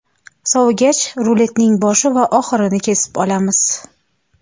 Sovigach, ruletning boshi va oxirini kesib olamiz.